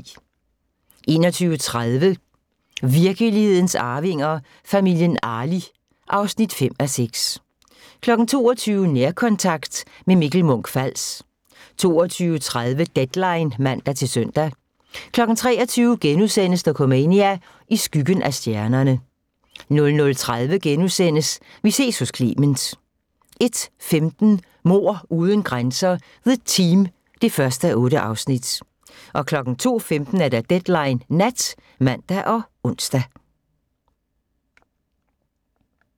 21:30: Virkelighedens Arvinger: Familien Arli (5:6) 22:00: Nærkontakt – med Mikkel Munch-Fals 22:30: Deadline (man-søn) 23:00: Dokumania: I skyggen af stjernerne * 00:30: Vi ses hos Clement * 01:15: Mord uden grænser – The Team (1:8) 02:15: Deadline Nat (man og ons)